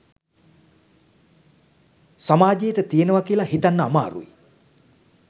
සමාජයට තියනව කියල හිතන්න අමාරුයි.